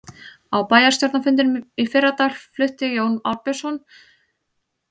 Á bæjarstjórnarfundinum í fyrradag flutti Jón Ásbjörnsson langa ræðu og snjalla um málið.